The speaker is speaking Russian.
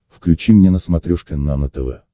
включи мне на смотрешке нано тв